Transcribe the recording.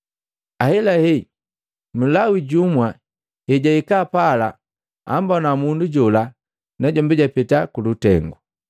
Ahelahe Mlawi jumu ejahika pala ammbona mundu jola najombi japeta kulutengu.